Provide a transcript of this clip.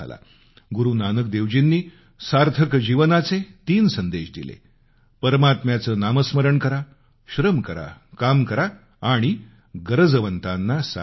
गुरु नानक देवजींनी सार्थक जीवनाचे तीन संदेश दिले परमात्म्याचं नामस्मरण करा श्रम करा काम करा आणि गरजवंताना सहाय्य करा